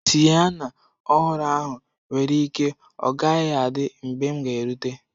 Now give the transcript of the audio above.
Siyana ọhụrụ ahụ nwere ike ọ gaghị adị mgbe m ga erute.